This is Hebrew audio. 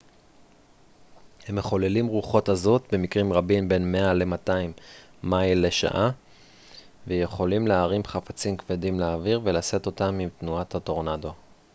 הם מחוללים רוחות עזות במקרים רבים בין 200 ל-100 מייל בשעה ויכולים להרים חפצים כבדים לאוויר ולשאת אותם עם תנועת הטורנדו